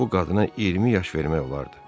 Bu qadına 20 yaş vermək olardı.